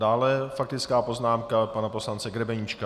Dále faktická poznámka pana poslance Grebeníčka.